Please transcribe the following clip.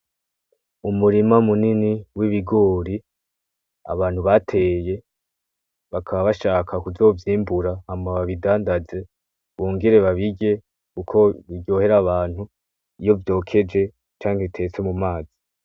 Umurima munini w'ibigori abantu bateye bakaba bashaka kuzovyimbura hama babidandaze, bongere babirye uko biryohera abantu iyo vyokeje canke bitetse mu mazi.